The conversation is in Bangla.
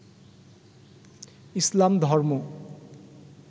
ইসলাম ধর্ম